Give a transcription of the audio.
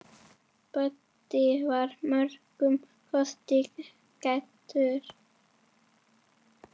Böddi var mörgum kostum gæddur.